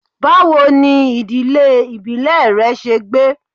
Bawo ni idile ibile rẹ ṣe gbe?